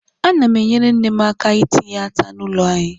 Ana m enyere nne m aka itinye ata n' ụlọ anyị.